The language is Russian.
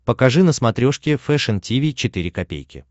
покажи на смотрешке фэшн ти ви четыре ка